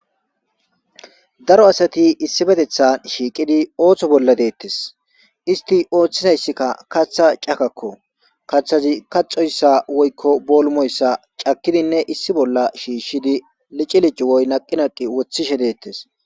Daro asati issiooetettan shiiqidi ooththo bolla deettes. Isti ooththizayssikka kaththa cakakko. Kaththazi kaxxoyssa woykko boolumoyssa cakkidinne issi bolla shiishshidi lici lici woy naqi naqi woththishe deettes.